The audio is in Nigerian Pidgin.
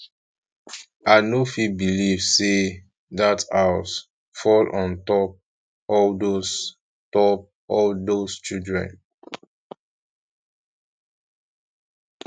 i no fit believe say dat house fall on top all those top all those children